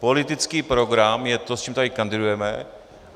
Politický program je to, s čím tady kandidujeme.